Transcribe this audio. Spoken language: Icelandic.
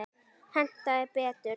Hentaði betur.